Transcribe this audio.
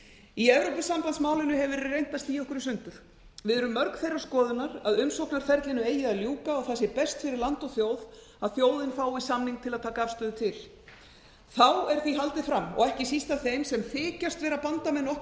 í evrópusambandsmálinu hefur verið reynt að stía okkur í sundur við erum mörg þeirrar skoðunar að umsóknarferlinu eigi að ljúka og það sé best fyrir land og þjóð að þjóðin fái samning til að taka afstöðu til því er haldið fram og ekki síst af þeim sem þykjast vera bandamenn okkar